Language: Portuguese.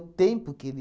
O tempo que ele...